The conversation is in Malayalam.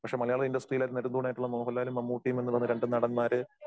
പക്ഷേ, മലയാളം ഇൻഡസ്ടറിയിലെ നെടുംതൂണായിട്ടുള്ള മോഹൻലാലും മമ്മുട്ടിയും എന്നുള്ള രണ്ട് നടന്മാര്